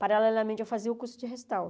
Paralelamente, eu fazia o curso de restauro.